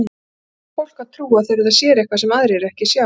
Hverju á fólk að trúa þegar það sér eitthvað sem aðrir sjá ekki?